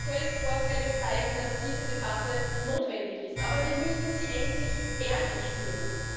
Die aktuellen Vorfälle zeigen, dass diese Debatte notwendig ist, aber wir müssen sie endlich ehrlich führen.